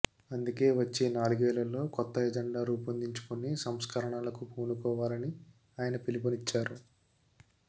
అందుకే వచ్చే నాలుగేళ్లలో కొత్త అజెండా రూపొందించుకుని సంస్కరణలకు పూనుకోవాలని ఆయన పిలుపునిచ్చారు